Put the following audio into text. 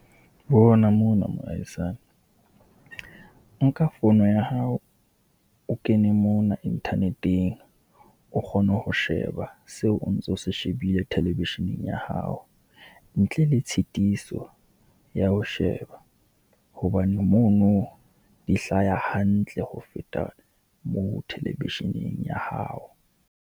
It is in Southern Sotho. Bona mo na moahisani, nka fono ya hao o kene mona internet-eng, o kgone ho sheba seo o ntso se shebile television-eng ya hao ntle le tshitiso ya ho sheba. Hobane mo no, di hlaha hantle ho feta moo television-eng ya hao.